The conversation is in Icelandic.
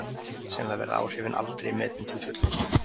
Sennilega verða áhrifin aldrei metin til fullnustu.